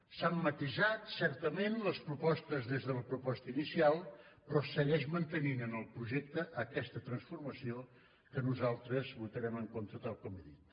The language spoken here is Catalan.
s’han matisat certament les propostes des de la proposta inicial però segueix mantenint en el projecte aquesta transformació que nosaltres votarem en contra tal com he dit